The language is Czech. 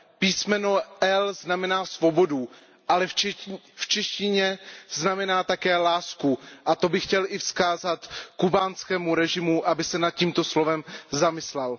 Písmeno L znamená svobodu, ale v češtině znamená také lásku, a to bych chtěl i vzkázat kubánskému režimu, aby se nad tímto slovem zamyslel.